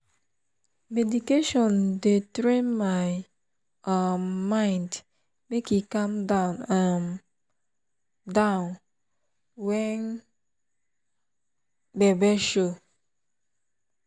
meditation dey train my um mind make e calm um down when gbege show. um